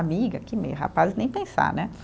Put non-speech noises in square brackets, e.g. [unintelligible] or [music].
Amiga, que [unintelligible] rapaz, nem pensar, né?